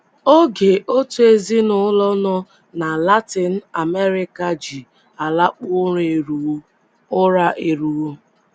OGE OTU EZINỤLỌ nọ na Latin America ji alakpu ụra eruwo. ụra eruwo.